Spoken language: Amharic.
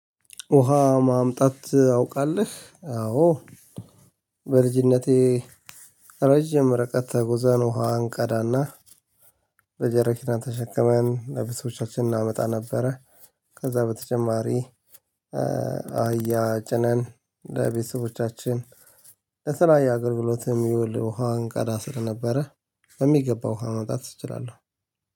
ውሃ ማምጣት አውቃለህ አዎ በልጅነቴ ረጅም ተጉዘን ውሃ አንቀዳና በጀርኪና ተሸከመን ለቤተሰቦቻችን እናመጣ ነበረ ከዛ በተጨማሪ አህያ ጭነን ለቤተሰቦቻችን ለስራ ለተለያየ አገልግሎት የሚውል ውሃ እንቀዳ ስለነበረ በሚገባው ውሃ ማምጣት እችላለሁ